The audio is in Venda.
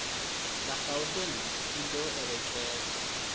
la gauteng i do eletshedza